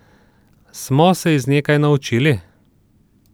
Smo se iz nje kaj naučili?